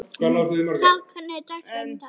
Hrafn, hvernig er dagskráin í dag?